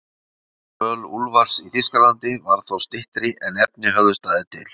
Dvöl Úlfars í Þýskalandi varð þó styttri en efni höfðu staðið til.